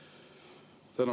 Tänan!